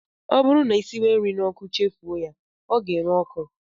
Ọ bụrụ na ị siwe nri n'ọkụ chefuo ya, ọ ga-ere ọkụ